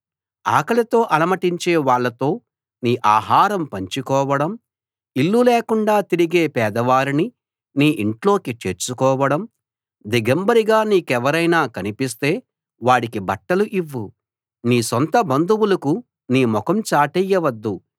ఆకలితో అలమటించే వాళ్లతో నీ ఆహారం పంచుకోవడం ఇల్లు లేకుండా తిరిగే పేదవారిని నీ ఇంట్లోకి చేర్చుకోవడం దిగంబరిగా నీకెవరైనా కనిపిస్తే వాడికి బట్టలు ఇవ్వు నీ సొంత బంధువులకు నీ ముఖం చాటేయవద్దు